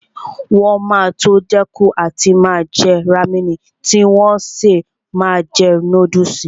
Wọn máa tó dẹ́kun àti máa jẹ rámẹ̀nì tí wọn ó sì máa jẹ núdùsì